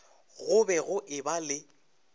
go be go eba le